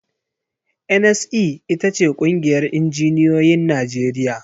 NSE ita ce ƙungiyar injinioyin Najeriya.